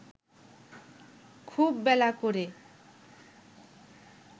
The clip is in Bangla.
খুব বেলা করে